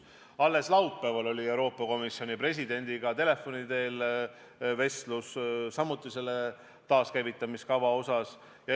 Alles laupäeval oli mul Euroopa Komisjoni presidendiga telefoni teel vestlus taaskäivitamise kava osas.